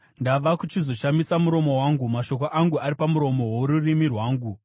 Ndava kuchizoshamisa muromo wangu; mashoko angu ari pamuromo worurimi rwangu.